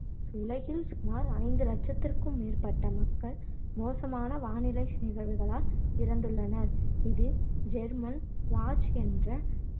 உலகில் சுமார் ஐந்து இலட்சத்திற்கும் மேற்பட்ட மக்கள் மோசமான வானிலை நிகழ்வுகளால் இறந்துள்ளனர் இது ஜெர்மன்வாட்ச் என்ற